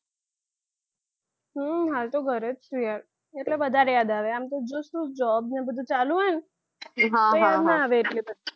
હમ હાલ તો ઘરે જ છુ યાર એટલે વધારે યાદ આવે આમ તો બીજું સુ job ને બધું ચાલુ હોય ન તો યાદ ના આવે એટલી બધી.